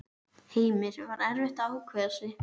Heimir: Var erfitt að ákveða sig?